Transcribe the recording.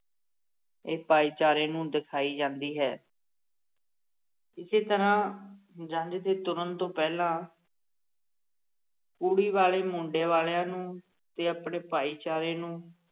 ਇਹ ਭਾਈਚਾਰੇ ਨੂੰ ਦਿਖਾਈ ਜਾਂਦੀ ਹੈ ਇਸੇ ਤਰ੍ਹਾਂ ਜੰਝ ਦੇ ਤੁਰਣ ਤੋਂ ਪਹਿਲਾ ਕੁੜੀ ਵਾਲੇ ਮੁੰਡੇ ਵਾਲਿਆਂ ਨੂੰ ਤੇ ਆਪਣੇ ਭਾਈਚਾਰੇ ਨੂੰ